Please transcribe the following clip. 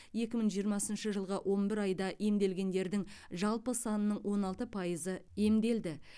екі мың жиырмасыншы жылғы он бір айда емделгендердің жалпы санының он алты пайызы емделді